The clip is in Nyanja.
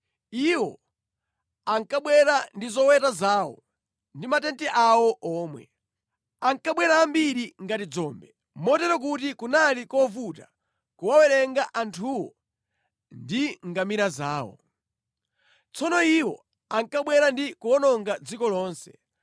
Iwo ankabwera ndi zoweta zawo ndi matenti awo omwe. Ankabwera ambiri ngati dzombe, motero kuti kunali kovuta kuwawerenga anthuwo ndi ngamira zawo. Tsono iwo ankabwera ndi kuwononga dziko lonse.